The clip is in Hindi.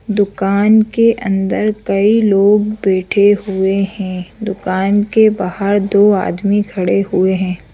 दुकान के अंदर कई लोग बैठे हुए हैं दुकान के बाहर दो आदमी खड़े हुए हैं।